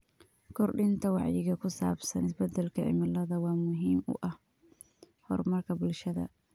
Kordhinta wacyiga ku saabsan isbedelka cimilada waa muhiim u ah horumarka bulshada.